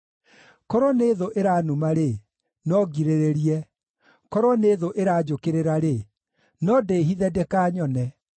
Korwo nĩ thũ ĩranuma-rĩ, no ngirĩrĩrie; korwo nĩ thũ ĩranjũkĩrĩra-rĩ, no ndĩhithe ndĩkanyone.